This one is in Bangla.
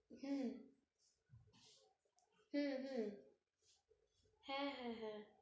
হুঁ হুঁ, হুঁ হ্যাঁ, হ্যাঁ, হ্যাঁ,